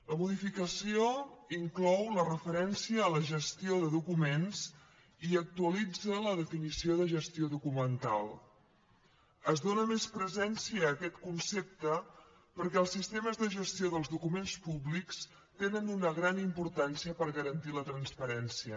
la modificació inclou la referència a la gestió de documents i actualitza la definició de gestió documental es dóna més presència a aquest concepte perquè els sistemes de gestió dels documents públics tenen una gran importància per garantir la transparència